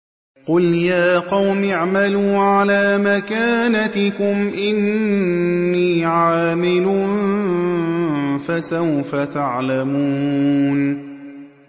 قُلْ يَا قَوْمِ اعْمَلُوا عَلَىٰ مَكَانَتِكُمْ إِنِّي عَامِلٌ ۖ فَسَوْفَ تَعْلَمُونَ